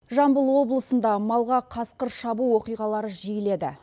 жамбыл облысында малға қасқыр шабу оқиғалары жиіледі